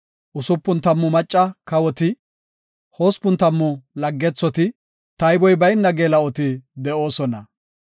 Usupun tammu macca kawoti, hospun tammu laggethoti, tayboy bayna geela7oti de7oosona.